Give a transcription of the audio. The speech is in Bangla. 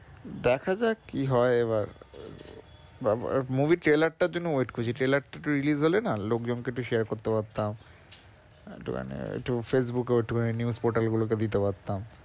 দেখা যাক কি হয় এবার বা ব~ movie trailer টার জন্য wait করছি trailer টা একটু release হলে না লোকজন কে একটু share করতে পারতাম। একটুখানে একটু Facebook এও একটুখানি news portal গুলোকেও দিতে পারতাম।